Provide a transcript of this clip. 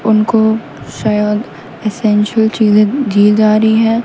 उनको शायद एसेंचुअल चीजें दी जा रही है।